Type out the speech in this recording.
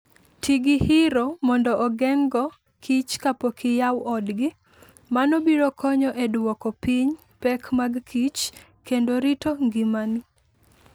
Ti gi hiro mondo ogeng'go kich kapok iyawo odgi . Mano biro konyo e duoko piny pek mag kich, kendo rito ngimani.